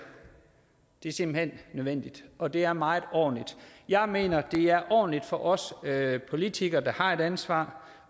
det er simpelt hen nødvendigt og det er meget ordentligt jeg mener at det er ordentligt for os politikere der har et ansvar